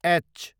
H